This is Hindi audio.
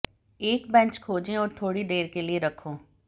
एक बेंच खोजें और थोड़ी देर के लिए रखो